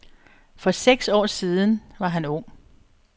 For seks år siden var han ung.